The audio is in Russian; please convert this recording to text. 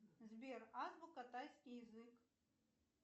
сбер азбука тайский язык